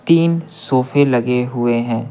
तीन सोफे लगे हुए हैं।